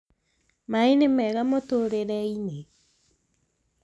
maaĩ nĩ mega mũtũrĩre-inĩ